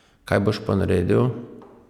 Kaj boš pa naredil?